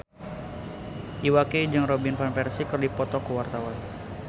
Iwa K jeung Robin Van Persie keur dipoto ku wartawan